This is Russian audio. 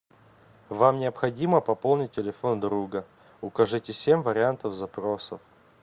вам необходимо пополнить телефон друга укажите семь вариантов запросов